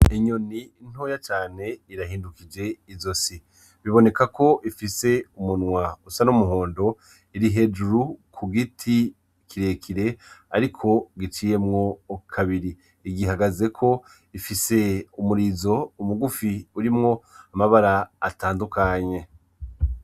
Inyoni ntoya cane irahindukije ijosi, biboneka ko ifise umunwa usa n'umuhondo, iri hejuru ku giti kirekire ariko giciyemwo kabiri, igihagazeko ifise umurizo mugufi urimwo amabara atandukanye.